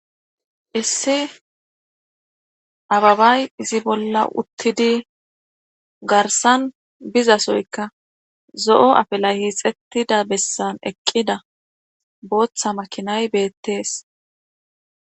issi ababay izi bolla uttidi garsan bizasoyka zo7o afelay hiixettida bessan eqqida booththa makinay beettees